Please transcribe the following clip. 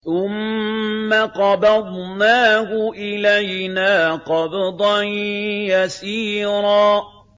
ثُمَّ قَبَضْنَاهُ إِلَيْنَا قَبْضًا يَسِيرًا